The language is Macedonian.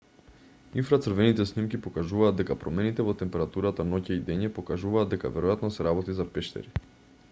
инфрацрвените снимки покажуваат дека промените во температурата ноќе и дење покажуваат дека веројатно се работи за пештери